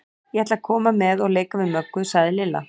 Ég ætla að koma með og leika við Möggu, sagði Lilla.